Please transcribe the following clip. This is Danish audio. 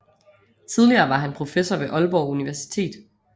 Tidligere var han professor ved Aalborg Universitet